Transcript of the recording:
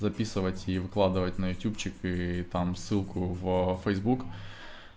записывать и выкладывать на ютубчик и там ссылку в фэйсбук